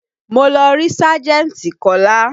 Mo lọ rí sájẹ̀ntì Kola